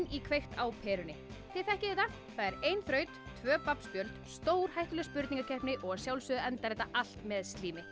í kveikt á perunni þið þekkið þetta það er ein þraut tvö babb spjöld stórhættuleg spurningakeppni og að sjálfsögðu endar þetta allt með